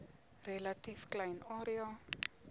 relatief klein area